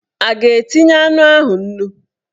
A ga-etinye anụ ahụ nnu?